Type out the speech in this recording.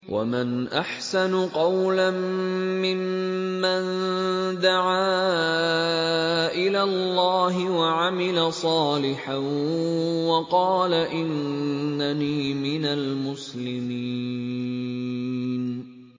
وَمَنْ أَحْسَنُ قَوْلًا مِّمَّن دَعَا إِلَى اللَّهِ وَعَمِلَ صَالِحًا وَقَالَ إِنَّنِي مِنَ الْمُسْلِمِينَ